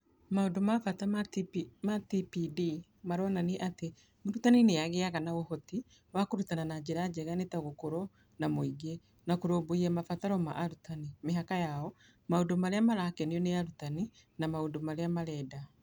Maũndũ ma bata ma TPD marĩa maronania atĩ mũrutani nĩ agĩaga na ũhoti wa kũrutana na njĩra njega nĩ ta gũkorũo na mũingĩ na kũrũmbũiya mabataro ma arutani, mĩhaka yao, maũndũ marĩa marakenio nĩ arutani, na maũndũ marĩa marenda.